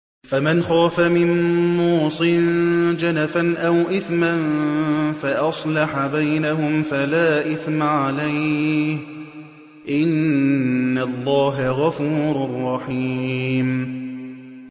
فَمَنْ خَافَ مِن مُّوصٍ جَنَفًا أَوْ إِثْمًا فَأَصْلَحَ بَيْنَهُمْ فَلَا إِثْمَ عَلَيْهِ ۚ إِنَّ اللَّهَ غَفُورٌ رَّحِيمٌ